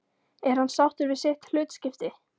Er hann sáttur við sitt hlutskipti?